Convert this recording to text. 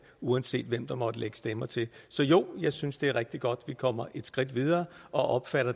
uanset hvem der måtte lægge stemmer til så jo jeg synes det er rigtig godt at vi kommer et skridt videre og